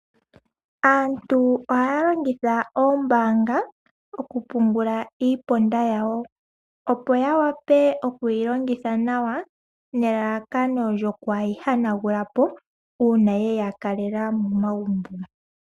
Aantu ohalongitha ombanga oku pungula iiponda yawo opo yawape okwilongitha nawa nelalakano lyokwayi hanangulapo una yeya kaleka momagumbo.